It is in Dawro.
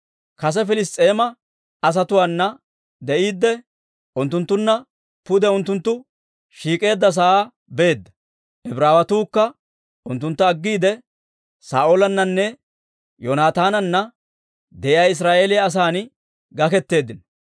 Kase Piliss's'eema asatuwaana de'iidde, unttunttunna pude unttunttu shiik'k'eedda sa'aa beedda. Ibraawatuukka unttuntta aggiide, Saa'oolannanne Yoonaataananna de'iyaa Israa'eeliyaa asan gaketeeddino.